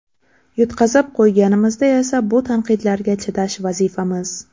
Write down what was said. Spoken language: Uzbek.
Yutqazib qo‘yganimizda esa bu tanqidlarga chidash vazifamiz”.